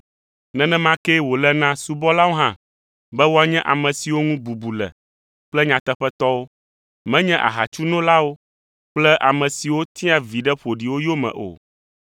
Nenema kee wòle na subɔlawo hã be woanye ame siwo ŋu bubu le kple nyateƒetɔwo, menye ahatsunolawo kple ame siwo tia viɖe ƒoɖiwo yome o.